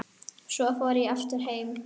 Svo fór ég aftur heim.